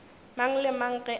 mang le mang ge a